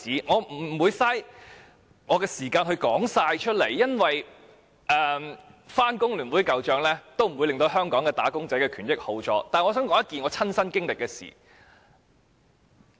我不想浪費時間講述所有事件，因為即使翻工聯會舊帳，也不會令香港"打工仔"的權益變好，但我想講述一件我親身經歷的事情。